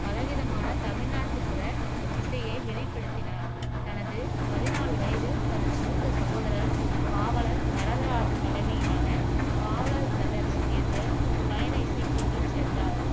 பலவிதமான தமிழ் நாட்டுப்புற இசையை வெளிப்படுத்தினார் தனது பதிநாலு வயதில் தனது மூத்த சகோதரர் பாவலர் வரதராஜன் தலைமையிலான பாவலர் பிரதர்ஸ் என்ற பயண இசைக் குழுவில் சேர்ந்தார்